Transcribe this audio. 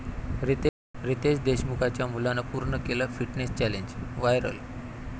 रितेश देशमुखच्या मुलानं पूर्ण केलं फिटनेस चॅलेंज, व्हायरल